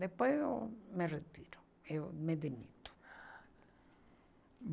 Depois eu me retiro, eu me demito.